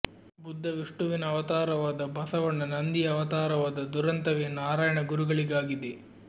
ಬುದ್ಧ ವಿಷ್ಣುವಿನ ಅವತಾರವಾದ ಬಸವಣ್ಣ ನಂದಿಯ ಅವತಾರವಾದ ದುರಂತವೇ ನಾರಾಯಣ ಗುರುಗಳಿಗಾಗಿದೆ